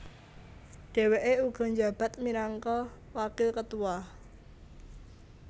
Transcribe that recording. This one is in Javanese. Dheweke uga njabat minangka wakil ketua